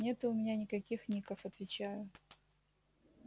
нету у меня никаких ников отвечаю